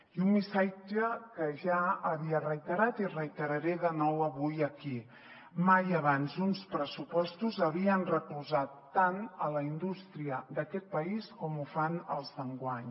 i un missatge que ja havia reiterat i reiteraré de nou avui aquí mai abans uns pressupostos havien recolzat tant la indústria d’aquest país com ho fan els d’enguany